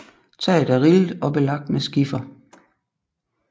Taget er rillet og belagt med skifer